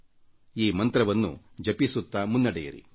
ಈ ಮಂತ್ರವನ್ನು ಜಪಿಸುತ್ತಾ ಮುನ್ನಡೆಯಿರಿ